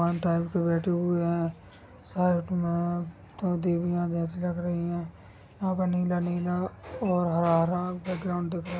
के बैठे हुए है साइड मे दो देवियाँ जैसे लग रही है यहाँ पर नीला नीला व हरा-हरा बैकग्राउड दिख रहा--